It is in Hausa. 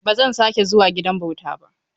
Ba zan sake zuwa gidan bauta ba.